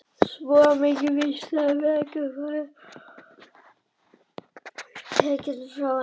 Svo mikið var víst að náð verkjalyfjanna var tekin frá henni.